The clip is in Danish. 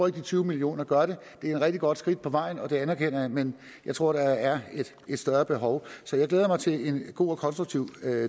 at de tyve millioner gør det det er et rigtig godt skridt på vejen og det anerkender jeg men jeg tror at der er et større behov så jeg glæder mig til en god og konstruktiv